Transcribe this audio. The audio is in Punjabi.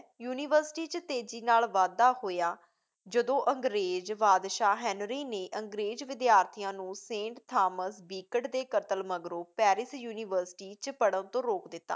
ਯੂਨੀਵਰਸਿਟੀ 'ਚ ਤੇਜ਼ੀ ਨਾਲ਼ ਵਾਧਾ ਹੋਇਆ ਜਦੋਂ ਅੰਗਰੇਜ਼ ਬਾਦਸ਼ਾਹ ਹੈਨਰੀ ਨੇ ਅੰਗਰੇਜ਼ ਵਿੱਦਿਆਰਥੀਆੰ ਨੂੰ ਸੇਂਟ ਥਾਮਸ ਬੀਕਟ ਦੇ ਕਤਲ ਮਗਰੋਂ ਪੈਰਿਸ ਯੂਨੀਵਰਸਿਟੀ 'ਚ ਪੜ੍ਹਨ ਤੋਂ ਰੋਕ ਦਿੱਤਾ।